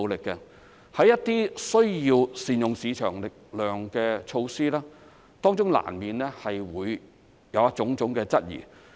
在推展一些需要善用市場力量的措施時，當中難免會有種種質疑。